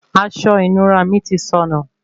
Aṣọ ìnura mí tí sọnù